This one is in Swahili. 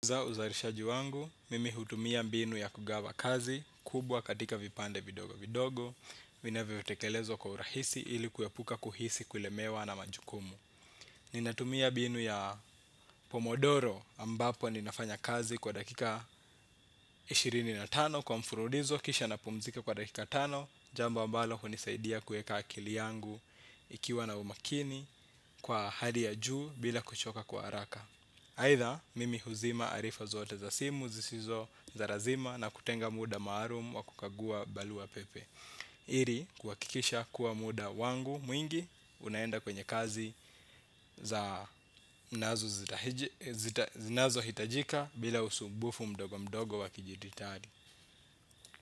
Kwa uzalishaji wangu, mimi hutumia mbinu ya kugawa kazi, kubwa katika vipande vidogo vidogo, vinavyotekelezwa kwa urahisi ili kuepuka kuhisi kulemewa na majukumu. Ninatumia mbinu ya pomodoro ambapo ninafanya kazi kwa dakika ishirini na tano kwa mfululizo kisha napumzika kwa dakika tano, jambo ambalo hunisaidia kueka akili yangu ikiwa na umakini kwa hali ya juu bila kuchoka kwa haraka. Aidha mimi huzima arifa zote za simu zisizo za lazima na kutenga muda maalum wa kukagua barua pepe ili kuhakikisha kuwa muda wangu mwingi unaenda kwenye kazi za zinazohitajika bila usumbufu mdogo mdogo wa kidijitali.